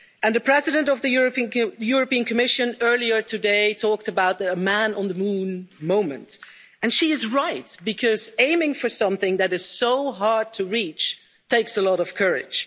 The President of the European Commission earlier today talked about a man on the moon' moment, and she is right, because aiming for something that is so hard to reach takes a lot of courage.